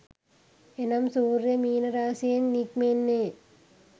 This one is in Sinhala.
එනම් සූර්යයා මීන රාශියෙන් නික්මෙන්නේ